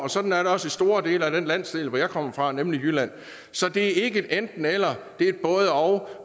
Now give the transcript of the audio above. og sådan er det også i store dele af den landsdel som jeg kommer fra nemlig jylland så det er ikke et enten eller det er et både og